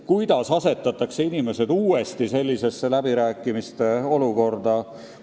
Kuidas ikkagi saab asetada inimesed uuesti sellisesse läbirääkimiste olukorda?